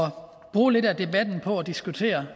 bruge lidt af debatten på at diskutere